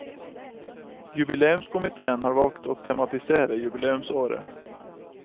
Jubileumskomitéen har valgt å tematisere jubileumsåret.